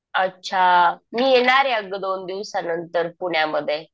अच्छा. मी येणार आहे अगं दोन दिवसानंतर पुण्यामध्ये.